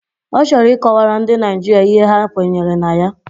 Ọ chọrọ ị kọwara ndị Naịjirịa ihe ha kwenyere na ya